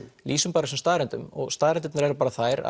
lýsum bara þessum staðreyndum og staðreyndirnar eru þær